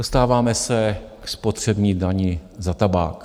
Dostáváme se ke spotřební dani za tabák.